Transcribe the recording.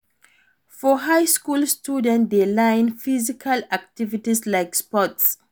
For high school, students de learn physical activities like sports